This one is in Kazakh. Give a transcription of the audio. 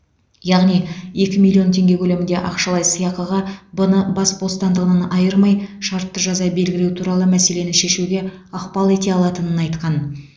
яғни екі миллион теңге көлемінде ақшалай сыйақыға б ны бас бостандығынан айырмай шартты жаза белгілеу туралы мәселені шешуге ықпал ете алатынын айтқан